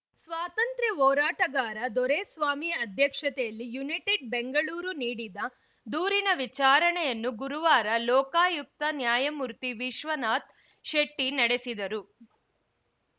ಸ್ವಾತಂತ್ರ್ಯ ಹೋರಾಟಗಾರ ದೊರೆಸ್ವಾಮಿ ಅಧ್ಯಕ್ಷತೆಯಲ್ಲಿ ಯುನೈಟೆಡ್‌ ಬೆಂಗಳೂರು ನೀಡಿದ ದೂರಿನ ವಿಚಾರಣೆಯನ್ನು ಗುರುವಾರ ಲೋಕಾಯುಕ್ತ ನ್ಯಾಯಮೂರ್ತಿವಿಶ್ವನಾಥ್‌ ಶೆಟ್ಟಿನಡೆಸಿದರು